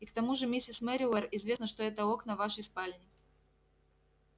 и к тому же миссис мерриуэр известно что это окна вашей спальни